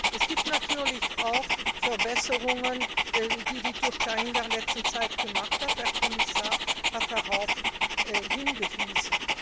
Es gibt natürlich auch Verbesserungen, die die Türkei in der letzten Zeit erzielt hat, der Kommissar hat darauf hingewiesen.